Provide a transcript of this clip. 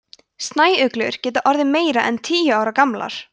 snæuglur geta orðið meira en tíu ára gamlar